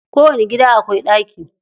Kowani gida akwai ɗaki.